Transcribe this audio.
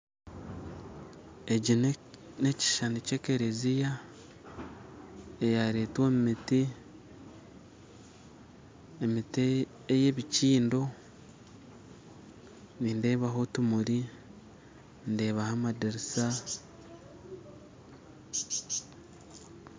Eki nekishishani kya ekereziya eyaretwa omumiti emiti eya ebikyiindo nindeebaho otumuri ndeebaho amadirisa